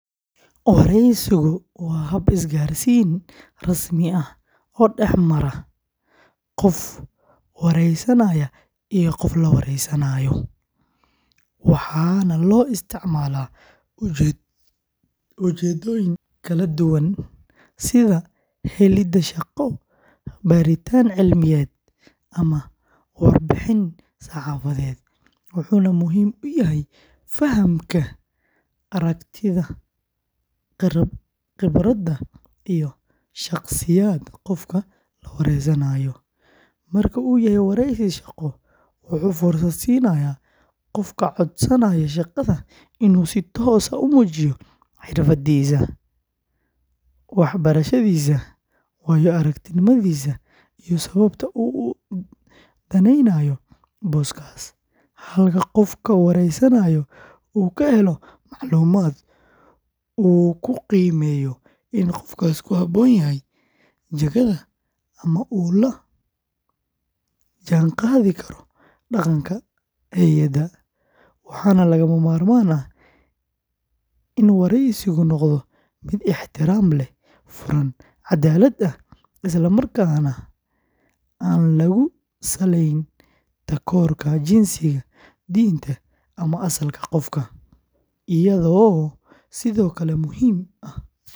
Wareysigu waa hab is garsin rasmi ah kamara qof wareysanaya iyo qof lawareysanayo, waxana lo isticmala ujedoyin kala duwan sitha helida shaqo baritan cilmiyeed iyo warbixin wuxuna muhiim u yahay fahamka aragtidha qibraada iyo shaq siyaad qofka wareysanayo, waresi shaqo waxee fursaad sinayo in u si tos ah umujineysa wax barashaadisa iyo wayo aragtinimaadisa iyo sawabta u udaneynayo boska, halka qofka wareysanayo u ka helayo maclumaad wuxuu ku qimeyo jikaada ama u lajihan qadhi karo daqanka heyaada waxana laga mamarman ah in wareysigu miid ixtiram leh oo furan cadalaad ah isla markas nah an lagu sinin intas ka hore dinta ama asalka qofka oo sithokale muhiim ah.